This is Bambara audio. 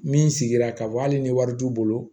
Min sigira k'a fɔ hali ni wari t'u bolo